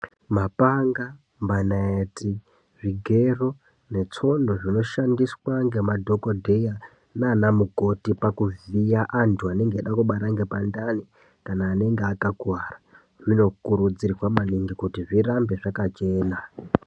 Mapanga, manayeti, zvigero netsono zvinoshandiswa ngemadhokodheya nanamukoti pakuvhiya antu anenge eida kubara ngepandani kana anenge akakuwara zvinokurudzirwa maningi kuti zvirambe zvakachena.